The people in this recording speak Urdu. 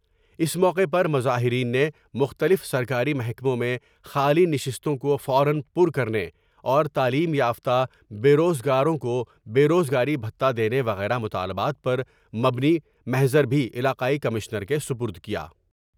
اس موقعے پر مظاہرین نے مختلف سرکاری محکموں میں خالی نشستوں کو فو را پر کر نے اور تعلیم یافتہ بے روز گاروں کو بے روز گاری بھتہ دینے وغیرہ مطالبات پر مبنی محضر بھی علاقائی کمشنر کے سپر د کیا ۔